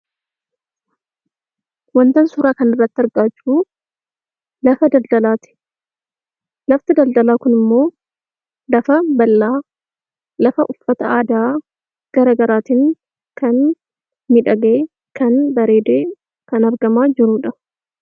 Wantan suuraa kanarratti argaa jiruu lafa daldalaa ti. Lafti daldalaa kun immoo lafaan bal'aa, lafa uffata aadaa garaagaraatiin; kan miidhagee, kan bareedee, kan argamaa jiruudha.